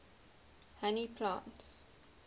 honey plants